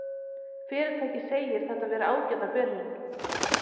Fyrirtækið segir þetta vera ágæta byrjun